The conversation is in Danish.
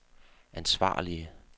ansvarlige